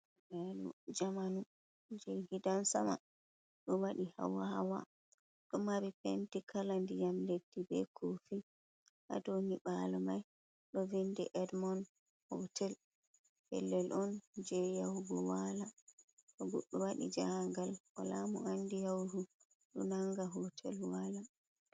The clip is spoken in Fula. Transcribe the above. Nyiɓalojamanu je gidan sama ɗo waɗi hawa hawa ɗo mari penti kala ndiyam leddi be kofi ha domai, babal mai ɗo vindi edmond hotel, pellel on je yahubo wala ko goɗɗo wadi jahagal wala mo andi yahugo ɗo nanga hotel wala.